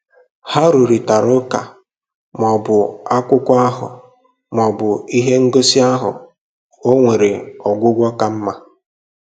Ha rụrịtara ụka ma ọ bụ akwụkwọ ahụ ma ọ bụ ihe ngosi ahụ o nwere ọgwụgwụ ka mma.